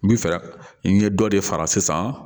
N bi fɛ ka n ye dɔ de fara sisan